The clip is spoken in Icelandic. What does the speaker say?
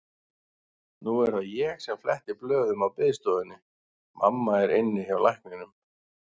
Nú er það ég sem fletti blöðum á biðstofunni, mamma er inni hjá lækninum.